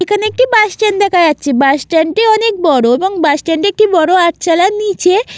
এখানে একটি bus stand দেখা যাচ্ছে | বাস স্ট্যান্ড -টি অনেক বড় এবং বাস স্ট্যান্ড -টি একটি বড় আটচালার নিচে --